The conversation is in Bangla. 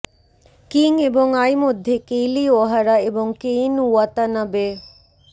কিং এবং আই মধ্যে কেইলি ওহারা এবং কেইন ওয়াতানাবে